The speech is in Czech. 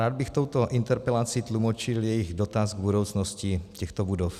Rád bych touto interpelací tlumočil jejich dotaz k budoucnosti těchto budov.